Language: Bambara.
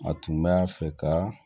A tun b'a fɛ ka